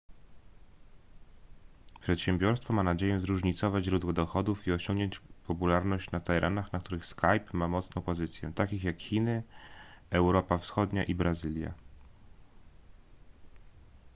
przedsiębiorstwo ma nadzieję zróżnicować źródła dochodów i osiągnąć popularność na terenach na których skype ma mocną pozycję takich jak chiny europa wschodnia i brazylia